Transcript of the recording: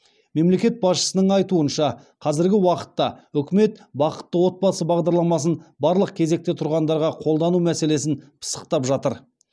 мемлекет басшысының айтуынша қазіргі уақытта үкімет бақытты отбасы бағдарламасын барлық кезекте тұрғандарға қолдану мәселесін пысықтап жатыр